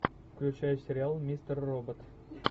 включай сериал мистер робот